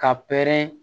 Ka pɛrɛn